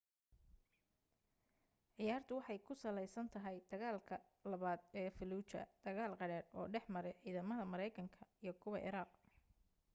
ciyaartu waxay ku sallaysan tahay dagaalkii labaad ee falluuja dagaal qadhaadh oo dhexmaray ciidamada maraykanka iyo kuwa ciraaq